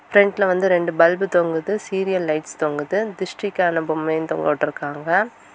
பிரண்ட்ல வந்து ரெண்டு பல்ப் தொங்குது சீரியல் லைட்ஸ் தொங்குது திருஷ்டிக்கான பொம்மையும் தொங்குட்ருக்காங்க.